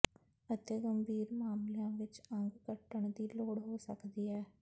ਅਤਿ ਗੰਭੀਰ ਮਾਮਲਿਆਂ ਵਿੱਚ ਅੰਗ ਕੱਟਣ ਦੀ ਲੋੜ ਹੋ ਸਕਦੀ ਹੈ